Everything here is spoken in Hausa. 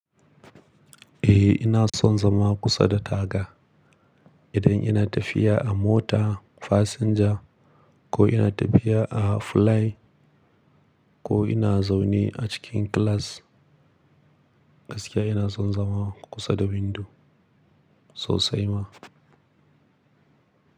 Eh ina son zama kusa da taga. Idan ina tafiya a mota fasinja ko ina tafiya a fulai ko ina zaune a cikin class, gaskiya ina son zama kusa da windo sosai ma.